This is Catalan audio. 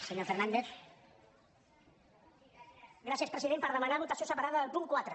sí gràcies president per demanar votació separada del punt quatre